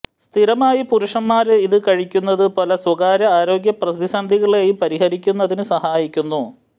സ്ഥിരമായി പുരുഷന്മാര് ഇത് കഴിക്കുന്നത് പല സ്വകാര്യ ആരോഗ്യ പ്രതിസന്ധികളേയും പരിഹരിക്കുന്നതിന് സഹായിക്കുന്നു